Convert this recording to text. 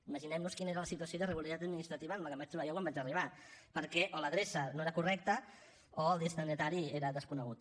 imaginem nos quina era la situació d’irregularitat administrativa amb què em vaig trobar jo quan vaig arribar perquè o l’adreça no era correcta o el destinatari era desconegut